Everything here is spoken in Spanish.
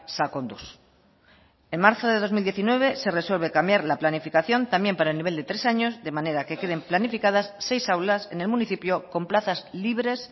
sakonduz en marzo de dos mil diecinueve se resuelve cambiar la planificación también para el nivel de tres años de manera que queden planificadas seis aulas en el municipio con plazas libres